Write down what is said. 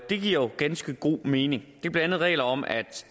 det giver jo ganske god mening det er blandt andet regler om at